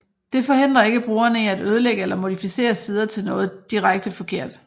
Det forhindrer ikke brugerne i at ødelægge eller modificere sider til noget direkte forkert